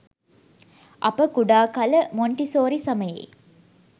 අප කුඩා කල මොන්ටිසෝරි සමයේ